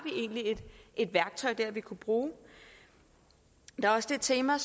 et værktøj dér vi kunne bruge der er også det tema